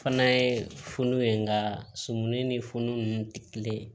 Fana ye funu ye nka sumuni ni funun nunnu tɛ kelen ye